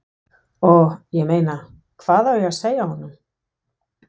Og, ég meina, hvað á ég að segja honum?